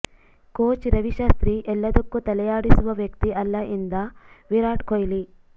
coach Ravi Shastri ಎಲ್ಲದಕ್ಕೂ ತಲೆಯಾಡಿಸುವ ವ್ಯಕ್ತಿ ಅಲ್ಲ ಎಂದ ವಿರಾಟ್ ಕೊಹ್ಲಿ